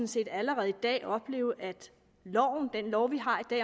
set allerede i dag opleve at loven den lov vi har